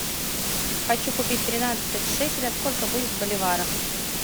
хочу купить тринадцать шекелей сколько будет в боливарах